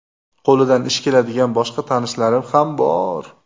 Qo‘lidan ish keladigan boshqa tanishlarim ham bor.